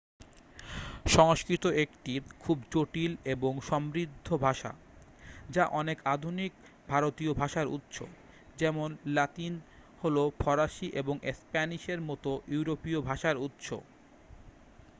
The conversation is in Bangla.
সংস্কৃত একটি খুব জটিল এবং সমৃদ্ধ ভাষা যা অনেক আধুনিক ভারতীয় ভাষার উৎস যেমন লাতিন হল ফরাসি এবং স্প্যানিশের মতো ইউরোপীয় ভাষার উৎস